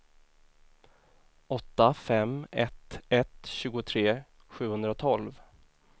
åtta fem ett ett tjugotre sjuhundratolv